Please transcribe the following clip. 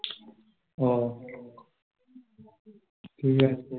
ওহ, ঠিক আছে